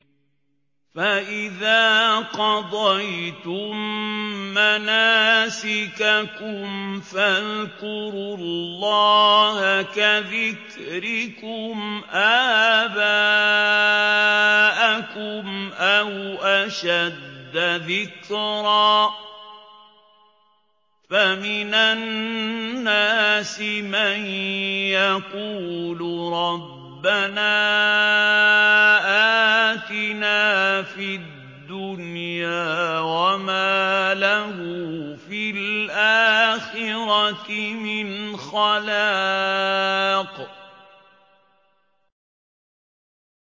فَإِذَا قَضَيْتُم مَّنَاسِكَكُمْ فَاذْكُرُوا اللَّهَ كَذِكْرِكُمْ آبَاءَكُمْ أَوْ أَشَدَّ ذِكْرًا ۗ فَمِنَ النَّاسِ مَن يَقُولُ رَبَّنَا آتِنَا فِي الدُّنْيَا وَمَا لَهُ فِي الْآخِرَةِ مِنْ خَلَاقٍ